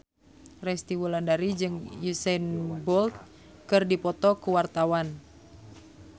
Resty Wulandari jeung Usain Bolt keur dipoto ku wartawan